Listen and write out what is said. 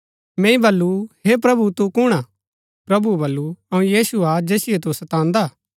मैंई बल्लू हे प्रभु तु कुणआ प्रभुऐ बल्लू अऊँ यीशु हा जैसिओ तु सतांदा